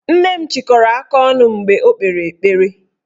Nne m chịkọrọ aka ọnụ mgbe o kpere ekpere